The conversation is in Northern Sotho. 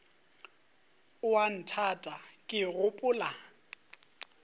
o a nthata ke gopola